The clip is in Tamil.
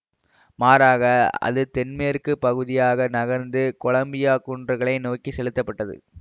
மாறாக அது தென்மேற்கு பகுதியாக நகர்ந்து கொலம்பியா குன்றுகளை நோக்கி செலுத்தப்பட்டது